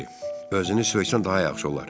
Özünü söysən daha yaxşı olar.